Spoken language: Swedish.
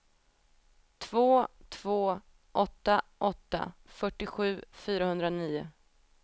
två två åtta åtta fyrtiosju fyrahundranio